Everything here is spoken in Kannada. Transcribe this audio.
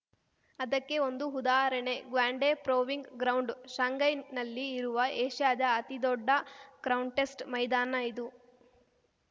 ಅದಕ್ಕೆ ಒಂದು ಉದಾಹರಣೆ ಗ್ವಾಂಡೆ ಪ್ರೂವಿಂಗ್‌ ಗ್ರೌಂಡ್‌ ಶಾಂಘೈನಲ್ಲಿ ಇರುವ ಏಷ್ಯಾದ ಅತಿ ದೊಡ್ಡ ಕ್ರಾನ್ ಟೆಸ್ಟ್‌ ಮೈದಾನ ಇದು